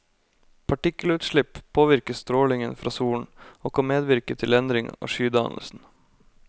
Partikkelutslipp påvirker strålingen fra solen, og kan medvirke til endring av skydannelsen.